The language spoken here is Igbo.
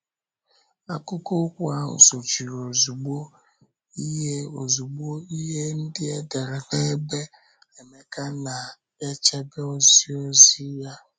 Akụkụ okwu ahụ sochiri ozugbo ihe ozugbo ihe ndị e dere na ebe Emeka na-echebe oziozi ya.